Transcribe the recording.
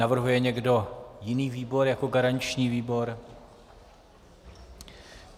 Navrhuje někdo jiný výbor jako garanční výbor?